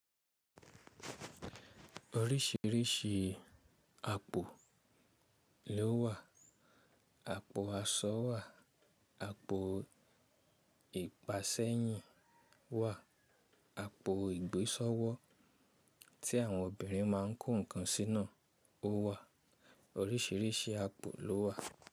Oríṣìíríṣìí àpò ló wà. Àpò aṣọ wà, àpò ìpa sẹ́yìn wà, àpò ìgbésọ́wọ́ tí àwọn obìnrin máa ń kó nǹkan sí ná ò wà. Oríṣìíríṣìí àpò ló wà.